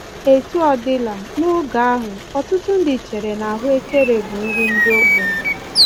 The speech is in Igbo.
Etu ọ dịla, n’oge ahụ, ọtụtụ ndị chere na ahụekere bụ nri ndị ogbenye.